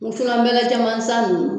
Wusunanbɛlɛ caman san ninnu